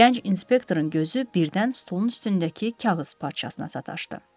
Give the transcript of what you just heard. Gənc inspektorun gözü birdən stolun üstündəki kağız parçasına sataşdı.